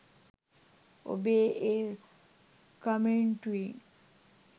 ඔබේ ඒ කමෙන්ටුවේ